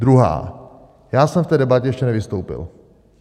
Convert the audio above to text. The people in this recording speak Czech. Druhá: Já jsem v té debatě ještě nevystoupil.